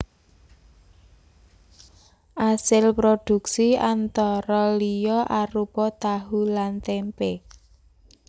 Asil prodhuksi antara liya arupa tahu lan témpé